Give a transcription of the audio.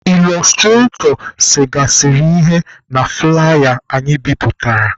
Ịlọstratọ segasịrị ihe na fụlaya anyị bipụtara.